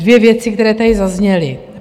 Dvě věci, které tady zazněly.